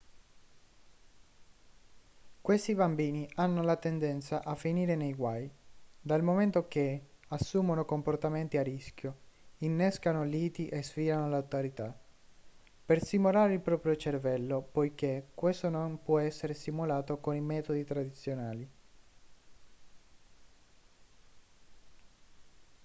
questi bambini hanno la tendenza a finire nei guai dal momento che assumono comportamenti a rischio innescano liti e sfidano l'autorità per stimolare il proprio cervello poiché questo non può essere stimolato con i metodi tradizionali